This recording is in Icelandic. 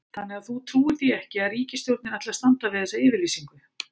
Þannig að þú trúir því ekki að ríkisstjórnin ætli að standa við þessa yfirlýsingu?